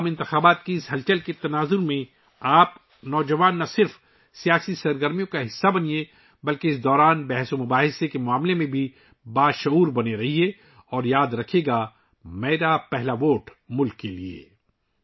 عام انتخابات کی اس ہلچل کے درمیان آپ نوجوانوں کو نہ صرف سیاسی سرگرمیوں کا حصہ بننا چاہیے بلکہ اس دوران ہونے والے بحث ومباحثہ سے بھی باخبر رہنا چاہیے اور یاد رکھیے گا 'میرا پہلا ووٹ ملک کے لیے '